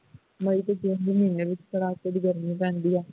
may ਤੇ june ਦੇ ਮਹੀਨੇ ਵਿੱਚ ਕੜਾਕੇ ਦੀ ਗਰਮੀ ਪੈਂਦੀ ਹੈ